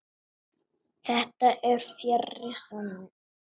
Þetta er fjarri sanni.